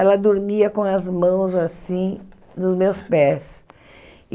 Ela dormia com as mãos assim, nos meus pés.